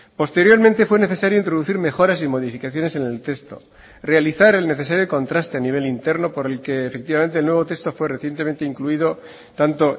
posteriormente fue necesario introducir mejoras y modificaciones en el texto realizar el necesario contraste a nivel interno por el que efectivamente el nuevo texto fue recientemente incluido tanto